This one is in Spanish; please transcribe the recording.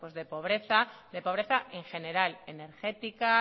de pobreza de pobreza en general energética